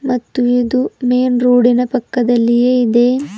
ಮತ್ತು ಇದು main road ನ ಪಕ್ಕದಲ್ಲಿಯೇ ಇದೆ.